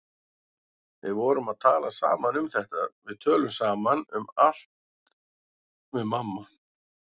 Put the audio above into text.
Við vorum að tala saman um þetta, við tölum saman um allt við mamma.